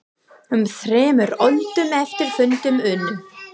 Um þremur öldum eftir fundinn unnu